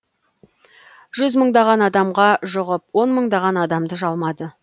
жүзмыңдаған адамға жұғып онмыңдаған адамды жалмады